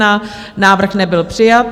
Návrh nebyl přijat.